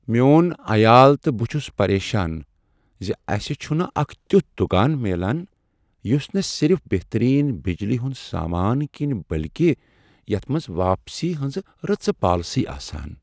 میون عیال تہٕ بہٕ چھس پریشان ز اسہ چھنہٕ اکھ تیُتھ دکان میلان یس نہ صرف بہترین بجلی ہند سامان کٕنہ بلکہ یتھ منز واپسی ہنزٕ رٕژٕ پالیسی آسن۔